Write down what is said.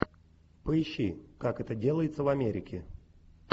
поищи как это делается в америке